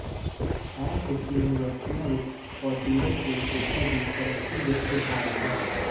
ਇਹ ਕੁਝ ਯੂਨੀਵਰਸਿਟੀਆਂ ਵਿਚ ਸਪੌਚੀਰਜ ਦੇ ਕੇਸਾਂ ਦੀ ਤਰੱਕੀ ਦੇ ਉਦਾਹਰਨ ਹੈ